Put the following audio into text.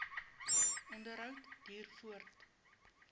onderhou duur voort